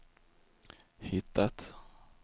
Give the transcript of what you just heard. hittat